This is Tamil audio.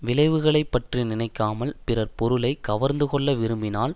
விளைவுகளை பற்றி நினைக்காமல் பிறர் பொருளை கவர்ந்துகொள்ள விரும்பினால்